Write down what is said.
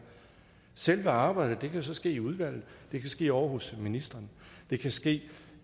selve arbejdet kan jo så ske i udvalget det kan ske ovre hos ministeren det kan ske